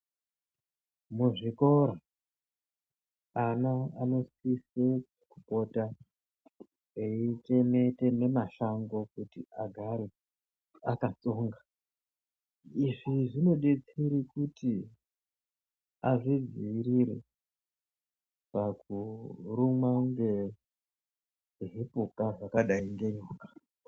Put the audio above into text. Muzvikora ana anosise kupota eiteme teme mashango kuti agare akatsonga izvi zvinodetsera kuti azvidziitire pakurumwa ngezvipuka zvakadai ngenyoka.